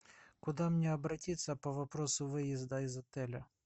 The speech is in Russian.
куда мне обратиться по вопросу выезда из отеля